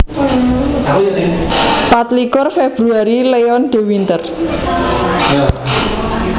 Patlikur Februari Leon de Winter